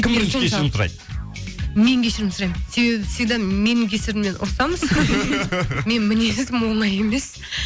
кім бірінші кешірім сұрайды мен кешірім сұраймын себебі всегда менің кесірімнен ұрысамыз менің мінезім оңай емес